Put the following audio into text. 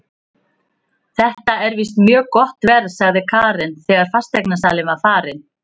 Þetta er víst mjög gott verð, sagði Karen þegar fasteignasalinn var farinn.